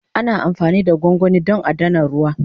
Ana amfani da gwangwani don adana ruwa.